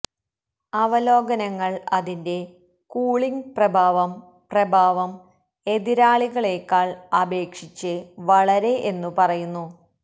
അവലോകനങ്ങൾ അതിന്റെ കൂളിംഗ് പ്രഭാവം പ്രഭാവം എതിരാളികളെക്കാൾ അപേക്ഷിച്ച് വളരെ എന്നു പറയുന്നു